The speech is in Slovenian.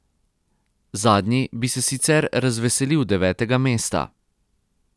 Zadnji bi se sicer razveselil devetega mesta.